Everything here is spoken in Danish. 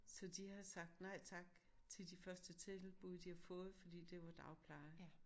Så de har sagt nej tak til de første tilbud de har fået fordi det var dagpleje